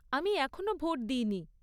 আমি এখনও ভোট দিইনি।